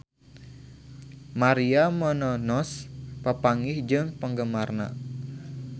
Maria Menounos papanggih jeung penggemarna